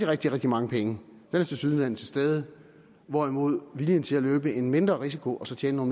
rigtig rigtig mange penge tilsyneladende er til stede hvorimod viljen til at løbe en mindre risiko og så tjene